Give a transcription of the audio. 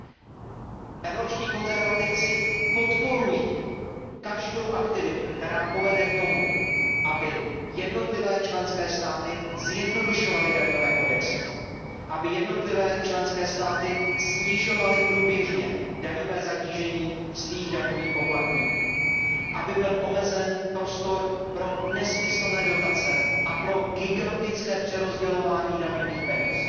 Skupina Evropských konzervativců a reformistů podporuje každou aktivitu, která povede k tomu, aby jednotlivé členské státy zjednodušovaly daňové kodexy, aby jednotlivé členské státy snižovaly průběžně daňové zatížení svých daňových poplatníků, aby byl omezen prostor pro nesmyslné dotace a pro gigantické přerozdělování daňových peněz.